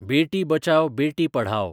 बेटी बचाव बेटी पढाओ